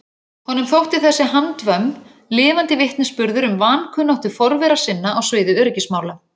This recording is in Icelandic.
Honum þótti þessi handvömm lifandi vitnisburður um vankunnáttu forvera sinna á sviði öryggismála.